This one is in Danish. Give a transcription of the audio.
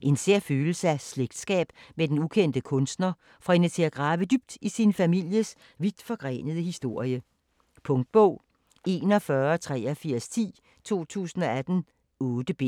En sær følelse af slægtsskab med den ukendte kunstner får hende til at grave dybt i sin families vidtforgrenede historie. Punktbog 418310 2018. 8 bind.